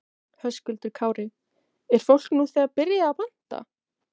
Höskuldur Kári: Er fólk nú þegar byrjað að panta?